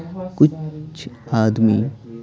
कुछ आदमी --